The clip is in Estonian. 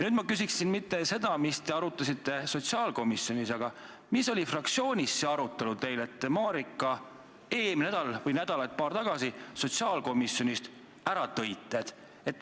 Nüüd, ma ei küsi mitte seda, mida te arutasite sotsiaalkomisjonis, vaid seda, mida te arutasite fraktsioonis, et te Marika eelmisel nädalal või nädalat paar tagasi sotsiaalkomisjonist ära tõite.